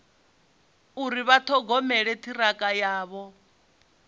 uri vha ṱhogomela ṱhirakha yavho